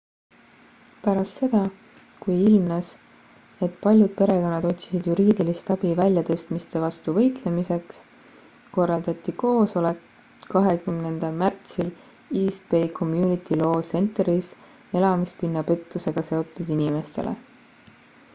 pärast seda kui ilmnes et paljud perekonnad otsisid juriidilist abi väljatõstmiste vastu võitlemiseks korraldati koosoleks 20 märtsil east bay community law centeris elamispinna pettusega seotud inimestele